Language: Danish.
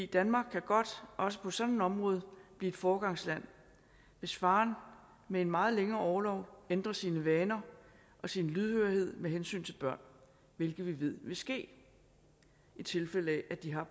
danmark kan godt også på sådan et område blive et foregangsland hvis faren med en meget længere orlov ændrer sine vaner og sin lydhørhed med hensyn til børn hvilket vi ved vil ske i tilfælde af at de har